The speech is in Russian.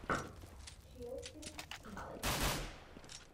челси сити